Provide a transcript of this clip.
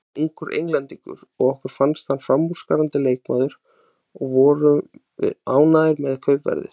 Hann var ungur Englendingur og okkur fannst hann framúrskarandi leikmaður og vorum ánægðir með kaupverðið.